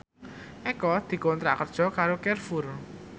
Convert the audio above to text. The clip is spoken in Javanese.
Eko dikontrak kerja karo Carrefour